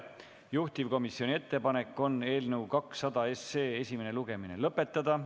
Juhtivkomisjoni ettepanek on eelnõu 200 esimene lugemine lõpetada.